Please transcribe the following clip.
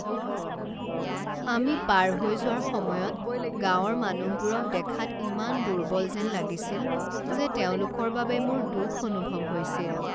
আমি পাৰ হৈ যোৱাৰ সময়ত গাঁৱৰ মানুহবোৰক দেখাত ইমান দুৰ্বল যেন লাগিছিল যে তেওঁলোকৰ বাবে মোৰ দুখ অনুভৱ হৈছিল।